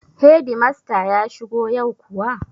Hedimasta ya shigo yau kuwa?